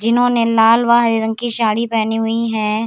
जिन्होंने लाल बाहे रंग की साड़ी पहनी हुई है।